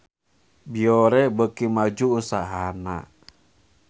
Biore beuki maju usahana